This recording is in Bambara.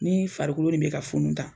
Nii farikolo nin bɛ ka funun tan